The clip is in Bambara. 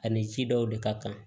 Ani ji dɔw de ka kan